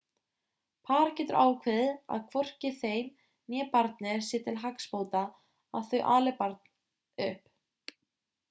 par getur ákveðið að hvorki þeim né barni sé til hagsbóta að þau ali upp barn